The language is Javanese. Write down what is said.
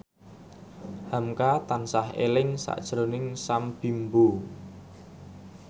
hamka tansah eling sakjroning Sam Bimbo